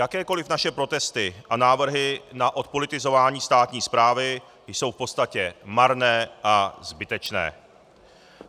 Jakékoliv naše protesty a návrhy na odpolitizování státní správy jsou v podstatě marné a zbytečné.